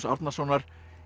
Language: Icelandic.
Árnasonar